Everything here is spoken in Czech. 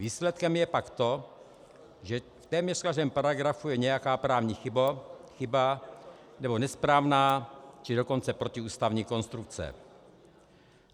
Výsledkem je pak to, že v téměř každém paragrafu je nějaká právní chyba nebo nesprávná, či dokonce protiústavní konstrukce.